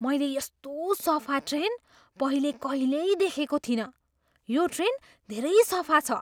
मैले यस्तो सफा ट्रेन पहिले कहिल्यै देखेको थिइनँ! यो ट्रेन धेरै सफा छ!